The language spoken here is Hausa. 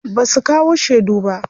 Basu kawo shedu ba.